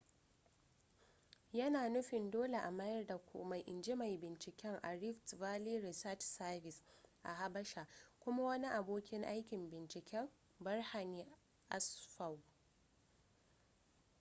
yana nufin dole a mayar da komai in ji mai binciken a rift valley research service a habasha kuma wani abokin aikin binciken berhane asfaw